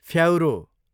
फ्याउरो